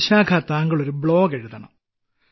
വിശാഖ താങ്കൾ ബ്ലോഗ് എഴുതണം